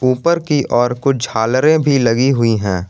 ऊपर की और कुछ झालरे भी लगी हुई है।